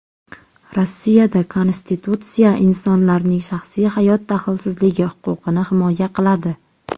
Rossiyada konstitutsiya insonlarning shaxsiy hayot daxlsizligi huquqini himoya qiladi.